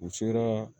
U sera